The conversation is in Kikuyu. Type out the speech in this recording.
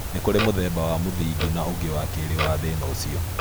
Nĩ kũrĩ mũthemba wa mũthingi na ũngĩ wa kerĩ wa thĩna ũcio